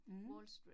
Mh